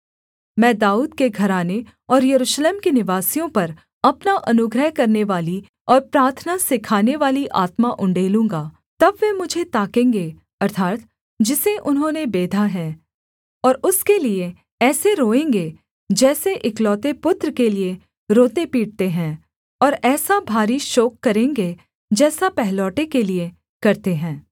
मैं दाऊद के घराने और यरूशलेम के निवासियों पर अपना अनुग्रह करनेवाली और प्रार्थना सिखानेवाली आत्मा उण्डेलूँगा तब वे मुझे ताकेंगे अर्थात् जिसे उन्होंने बेधा है और उसके लिये ऐसे रोएँगे जैसे एकलौते पुत्र के लिये रोतेपीटते हैं और ऐसा भारी शोक करेंगे जैसा पहलौठे के लिये करते हैं